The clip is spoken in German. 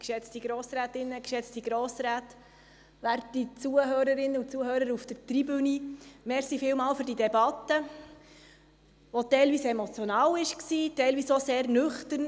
Vielen Dank für diese Debatte, die teilweise emotional war, teilweise auch sehr nüchtern.